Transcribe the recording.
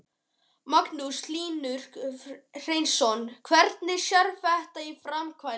Magnús Hlynur Hreiðarsson: Hvernig sérðu þetta í framkvæmd?